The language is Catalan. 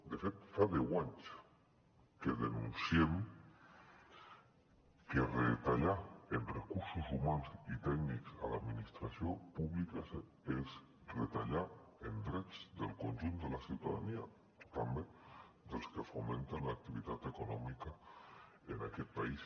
de fet fa deu anys que denunciem que retallar en recursos humans i tècnics a l’administració pública és retallar en drets del conjunt de la ciutadania també dels que fomenten l’activitat econòmica en aquest país